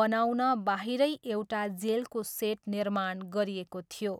बनाउन बाहिरै एउटा जेलको सेट निर्माण गरिएको थियो।